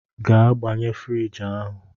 Gaa gbanye friji ahụ!